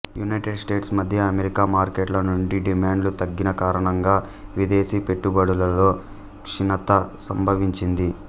United States మద్య America మార్కెట్ల నుండి డిమాండ్లు తగ్గినకారణంగా విదేశీపెట్టుబడులలో క్షీణత సంభవించింది